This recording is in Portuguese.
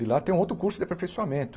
E lá tem um outro curso de aperfeiçoamento.